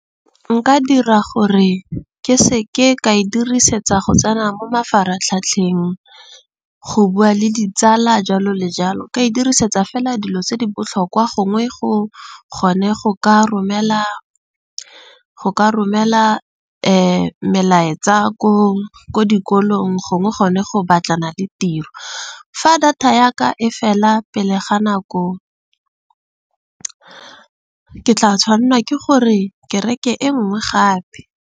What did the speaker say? Nka dira gore ke seke ka e dirisetsa go tsena mo mafaratlhatlheng, go bua le ditsala jalo le jalo ka e dirisetsa fela dilo tse di botlhokwa gongwe, go kgone go ka romela melaetsa ko dikolong. Gongwe gone go batlana le tiro. Fa data ya ka e fela pele ga nako ke tla tshwanela ke gore ke reke e nngwe gape.